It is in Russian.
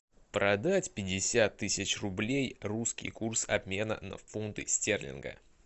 продать пятьдесят тысяч рублей русский курс обмена на фунты стерлинга